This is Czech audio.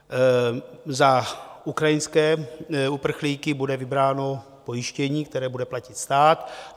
Za ukrajinské uprchlíky bude vybráno pojištění, které bude platit stát.